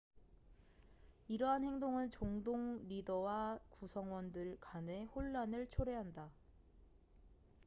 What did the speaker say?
이러한 행동은 종동 리더와 구성원들 간의 혼란을 초래한다